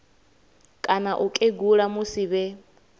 kana u kegula musi vhe